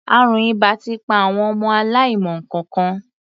Àrùn ìbà ti pa àwọn ọmọ aláìmọ nǹkankan.